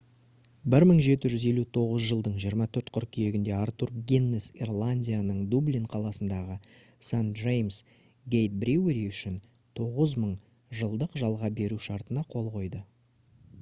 1759 жылдың 24 қыркүйегінде артур гиннес ирландияның дублин қаласындағы st james' gate brewery үшін 9000 жылдық жалға беру шартына қол қойды